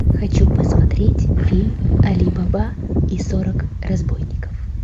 хочу посмотреть фильм али баба и сорок разбойников